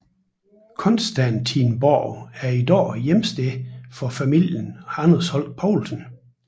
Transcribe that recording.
Constantinsborg er i dag hjemsted for familien Anders Holch Povlsen